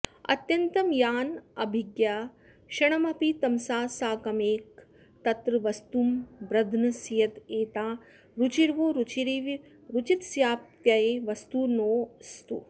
अत्यन्तं यानभिज्ञा क्षणमपि तमसा साकमेकत्र वस्तुं ब्रध्नस्येद्धा रुचिर्वो रुचिरिव रुचितस्याप्तये वस्तुनोस्तु